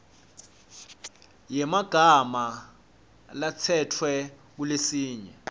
yemagama latsetfwe kuletinye